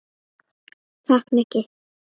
Takk, Nikki